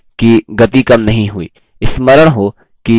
ध्यान दें कि गति कम नहीं हुई